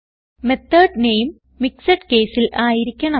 method നാമെ mixed caseൽ ആയിരിക്കണം